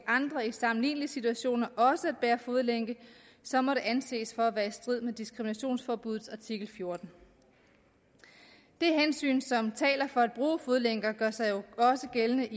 andre i sammenlignelige situationer også at bære fodlænke så må det anses for at være i strid med diskriminationsforbuddet i artikel fjortende det hensyn som taler for at bruge fodlænker gør sig jo også gældende